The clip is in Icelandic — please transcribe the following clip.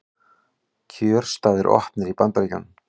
Kjörstaðir opnir í Bandaríkjunum